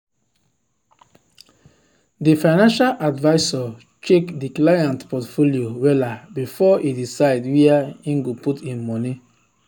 the financial advisor check the client portfolio wella before e decide where him go put him money.